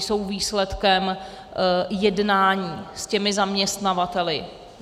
Jsou výsledkem jednání s těmi zaměstnavateli.